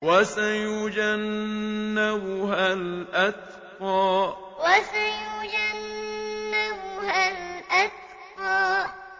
وَسَيُجَنَّبُهَا الْأَتْقَى وَسَيُجَنَّبُهَا الْأَتْقَى